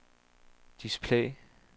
display